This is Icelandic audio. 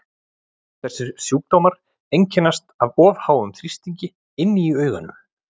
Þessir sjúkdómar einkennast af of háum þrýstingi inni í auganu.